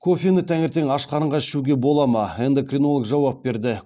кофені таңертең ашқарынға ішуге бола ма эндокринолог жауап берді